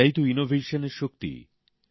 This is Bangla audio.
এটাই তো উদ্ভাবনের শক্তি